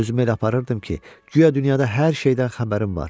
Özümü elə aparırdım ki, guya dünyada hər şeydən xəbərim var.